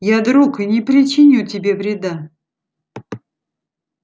я друг и не причиню тебе вреда